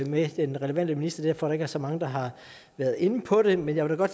med den relevante minister derfor er der ikke så mange der har været inde på det men jeg vil da